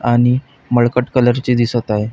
आणि मळकट कलर चे दिसत आहे.